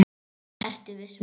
Ertu viss um þetta?